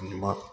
Ɲuman